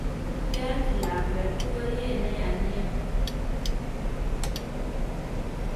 Keolchi lakwet ikoryet neya nia.